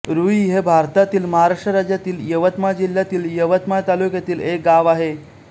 रूई हे भारतातील महाराष्ट्र राज्यातील यवतमाळ जिल्ह्यातील यवतमाळ तालुक्यातील एक गाव आहे